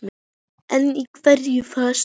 En í hverju fólst hún?